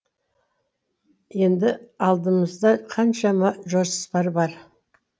енді алдымызда қаншама жоспар бар